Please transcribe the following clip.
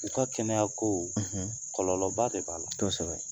U ka kɛnɛya kow; Kɔlɔlɔba de b'a la; Kosɛbɛ.